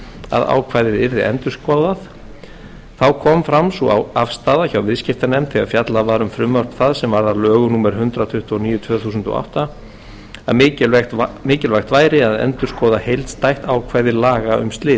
að ákvæðið yrði endurskoðað þá kom sú afstaða fram hjá viðskiptanefnd þegar fjallað var um frumvarp það sem varð að lögum númer hundrað tuttugu og níu tvö þúsund og átta að mikilvægt væri að endurskoða heildstætt ákvæði laga um slit